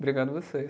Obrigado vocês.